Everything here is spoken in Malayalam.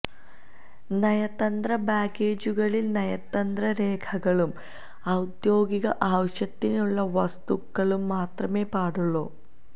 നയതന്ത്ര ബാഗേജുകളിൽ നയതന്ത്ര രേഖകളും ഔദ്യോഗിക ആവശ്യത്തിനുള്ള വസ്തുക്കളും മാത്രമേ പാടുള്ളൂ